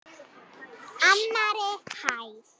Annarri hæð.